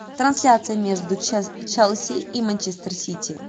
трансляция между челси и манчестер сити